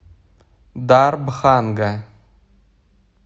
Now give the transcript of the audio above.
дарбханга